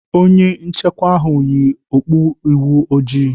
Onye nchekwa ahụ yi okpu ihu ojii..